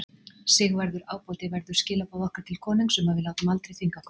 Sigvarður ábóti verður skilaboð okkar til konungs um að við látum aldrei þvinga okkur.